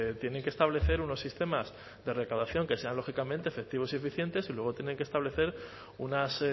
tienen que establecer unos sistemas de recaudación que sean lógicamente efectivos y eficientes y luego tienen que establecer unas